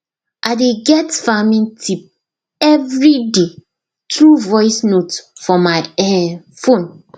i dey get farming tip every day through voice note for my um phone